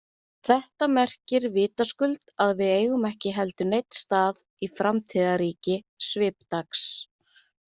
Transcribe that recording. Þetta merkir vitaskuld að við eigum ekki heldur neinn stað í framtíðarríki Svipdags.